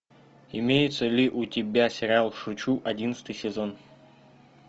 имеется ли у тебя сериал шучу одиннадцатый сезон